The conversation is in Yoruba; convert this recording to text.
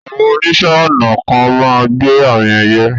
Àwọn oníṣẹ̀-ọnà kan máa n gbẹ́ àmì ẹyẹ̀